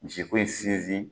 Misi ko in sinsin